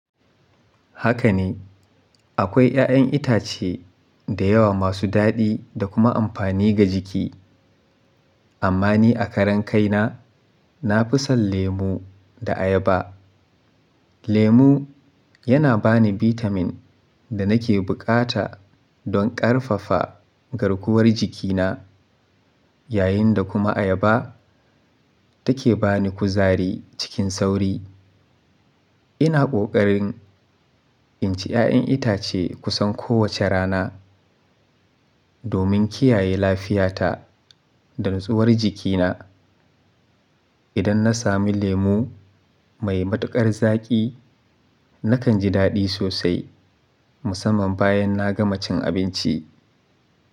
Haka ne, akwai 'ya'yan itace da yawa masu daɗi da kuma amfani ga jiki. Amma ni a karen kaina, na fi son lemu da ayaba. Lemu yana bani bitamin da nake bukata don ƙarfafa garkuwar jikina, yayin da kuma ayaba take bani kuzari cikin sauri. Ina ƙoƙarin inci 'ya'yan itace kusan kowace rana domin kiyaye lafiyata da nutsuwar jikina. Idan na sami lemu mai matuƙar zaƙi, nakan ji daɗi sosai musamman bayan na gama cin abinci.